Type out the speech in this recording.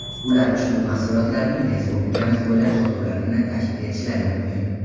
Ular ushbu mahsulotlarning respublikamiz bo‘ylab sotuvlarini tashkil etishlari mumkin.